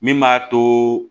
Min m'a to